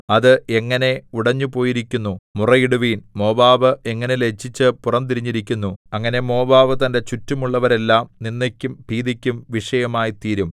അത് എങ്ങനെ ഉടഞ്ഞുപോയിരിക്കുന്നു മുറയിടുവിൻ മോവാബ് എങ്ങനെ ലജ്ജിച്ച് പുറം തിരിഞ്ഞിരിക്കുന്നു അങ്ങനെ മോവാബ് തന്റെ ചുറ്റുമുള്ളവരെല്ലാം നിന്ദയ്ക്കും ഭീതിയ്ക്കും വിഷയമായിത്തീരും